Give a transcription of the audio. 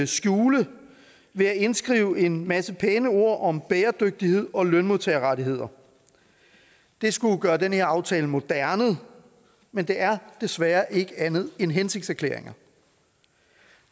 skjule ved at indskrive en masse pæne ord om bæredygtighed og lønmodtagerrettigheder det skulle gøre den her aftale moderne men det er desværre ikke andet end hensigtserklæringer